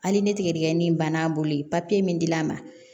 Hali ni tigɛdigɛni in banna a bolo papiye min dila a ma